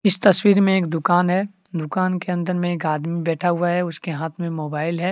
इस तस्वीर में एक दुकान है दुकान के अंदर मे एक आदमी बैठा हुआ है उसके हाथ में मोबाइल है।